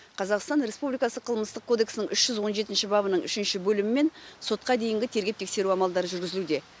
қазақстан республикасы қылмыстық кодексінің үш жүз он жетінші бабының үшінші бөлімімен сотқа дейінгі тергеп тексеру амалдары жүргізілуде